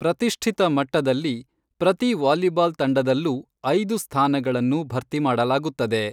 ಪ್ರತಿಷ್ಠಿತ ಮಟ್ಟದಲ್ಲಿ, ಪ್ರತಿ ವಾಲಿಬಾಲ್ ತಂಡದಲ್ಲೂ ಐದು ಸ್ಥಾನಗಳನ್ನು ಭರ್ತಿ ಮಾಡಲಾಗುತ್ತದೆ.